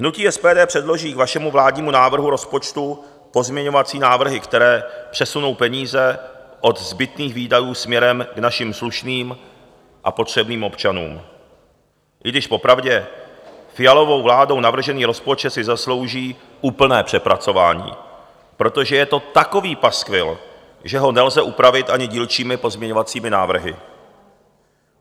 Hnutí SPD předloží k vašemu vládnímu návrhu rozpočtu pozměňovací návrhy, které přesunou peníze od zbytných výdajů směrem k našim slušným a potřebným občanům, i když popravdě Fialovou vládou navržený rozpočet si zaslouží úplné přepracování, protože je to takový paskvil, že ho nelze upravit ani dílčími pozměňovacími návrhy.